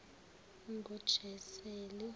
ngojaseli